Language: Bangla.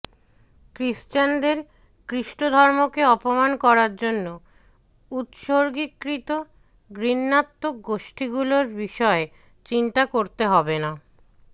খ্রিস্টানদের খ্রিস্টধর্মকে অপমান করার জন্য উৎসর্গীকৃত ঘৃণাত্মক গোষ্ঠীগুলোর বিষয়ে চিন্তা করতে হবে না